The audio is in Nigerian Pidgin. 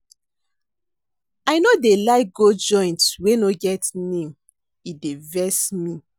I no dey like go joint wey no get name, e dey vex me.